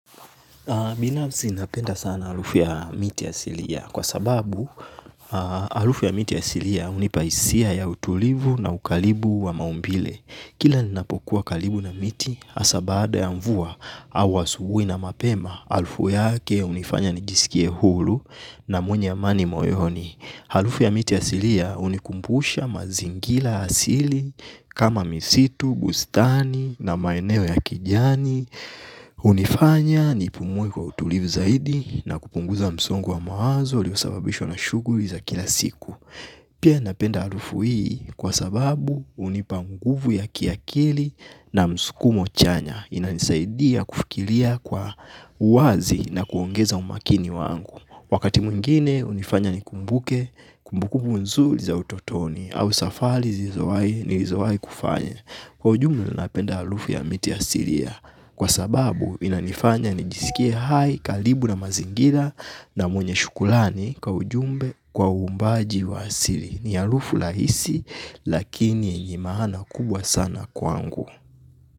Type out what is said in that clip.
Binafsi napenda sana harufu ya miti ya asili kwa sababu harufu ya miti ya asilia hunipa hisia ya utulivu na ukaribu wa maumbile. Kila ninapokuwa karibu na miti hasa baada ya mvua au asubuhi na mapema harufu yake hunifanya nijisikie huru na mwenye amani moyoni. Harufu ya miti ya asilia hunikumbusha mazingira asili kama misitu, bustani na maeneo ya kijani. Hunifanya nipumue kwa utulivu zaidi na kupunguza msongo wa mawazo uliosababishwa na shughuli za kila siku. Pia napenda harufu hii. Kwa sababu hunipa nguvu ya kiakili na msukumo chanya. Inanisaidia kufikiria kwa uwazi na kuongeza umakini wangu. Wakati mwingine hunifanya nikumbuke kumbukumbu nzuri za utotoni au safari nilizowahi kufanya. Kwa ujumla napenda harufu ya miti ya asilia. Kwa sababu inanifanya nijisikie hai karibu na mazingira na mwenye shukrani kwa ujumbe kwa uumbaji wa asili. Ni harufu rahisi lakini yenye maana kubwa sana kwangu.